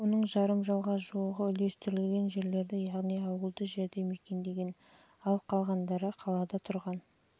оның жарым мыңға жуығы үлестірілген жерлерді яғни ауылды жерді мекендеген ал қалада адам тұрған